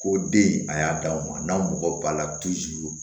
Ko den a y'a d'anw ma n'anw mɔgɔ b'a la